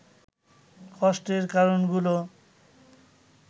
কষ্টের কারণগুলো